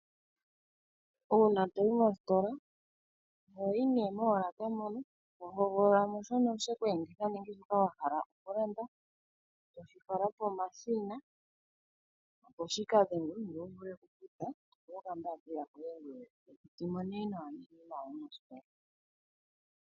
Uuna toyi moositola ohoyi nee molaka moka to hogolola shono sheku enditha nenge shono wahala okulanda eto fala pomashina opo shika dhengwe ngoye to pewa oka mbaapila koye ngoye to zimo nee nawa mositola.